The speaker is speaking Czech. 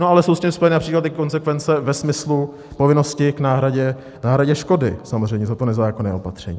No ale jsou s tím spojené například i konsekvence ve smyslu povinnosti k náhradě škody, samozřejmě, za to nezákonné opatření.